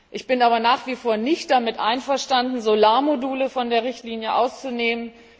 Ich bin aber nach wie vor nicht damit einverstanden, Solarmodule von der Richtlinie auszunehmen.